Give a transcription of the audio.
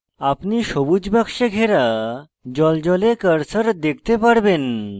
আপনি সবুজ box ঘেরা জ্বলজ্বলে cursor দেখতে পারবেন